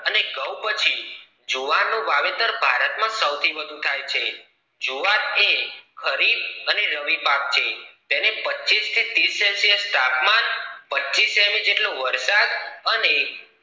અને ઘઉ પછી જુવાર નું વાવેતર ભારત માં સૌ થી વધુ થાય છે જુવાર એ ખરીદ અને રવિ પાક છે તેને પચીસ તીરસ સેલ્સિયસ તાપમાન પચીસ સેમી જેટલો વરસાદ અને